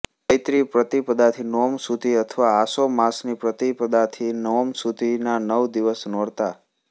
ચૈત્રી પ્રતિપદાથી નોમ સુધી અથવા આસો માસની પ્રતિપદાથી નોમ સુધીના નવ દિવસ નોરતાં